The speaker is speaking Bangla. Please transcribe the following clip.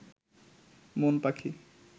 মন পাখি